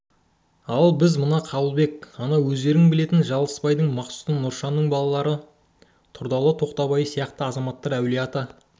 ал біз мына қабылбек ана өздерің білетін жылысбайдың мақсұты нұршанның балалары тұрдалы тоқбайұлы сияқты азаматтар әулие-ата